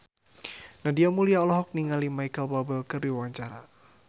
Nadia Mulya olohok ningali Micheal Bubble keur diwawancara